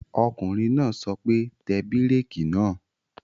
Ọkùnrin náà sọ pé, Tẹ bírèkì náà!